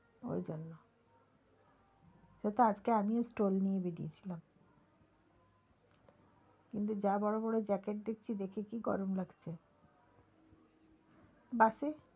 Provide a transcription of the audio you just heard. ওইজন্য সেতো আজকে আমিও stole নিয়ে বেরিয়েছিলাম। কিন্তু যা বড় বড় jacket দেখছি দেখে কি গরম লাগছে bus এ,